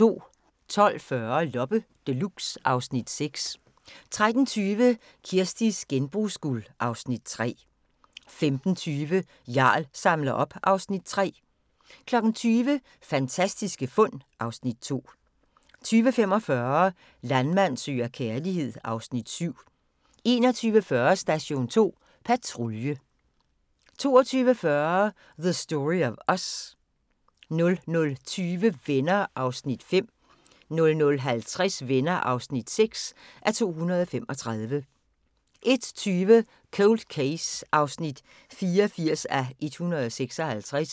12:40: Loppe Deluxe (Afs. 6) 13:20: Kirsties genbrugsguld (Afs. 3) 15:20: Jarl samler op (Afs. 3) 20:00: Fantastiske fund (Afs. 2) 20:45: Landmand søger kærlighed (Afs. 7) 21:40: Station 2 Patrulje 22:40: The Story of Us 00:20: Venner (5:235) 00:50: Venner (6:235) 01:20: Cold Case (84:156)